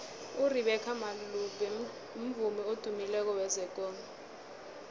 urebeca malope mvumi odumileko wezekolo